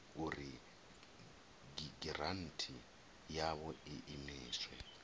uri giranthi yavho i imiswe